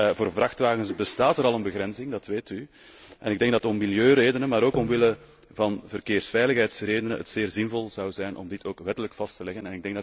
Voor vrachtwagens bestaat er al een begrenzing zoals u weet, en ik denk dat het om milieuredenen, maar ook omwille van verkeersveiligheidsredenen zeer zinvol zou zijn om dit ook wettelijk vast te leggen.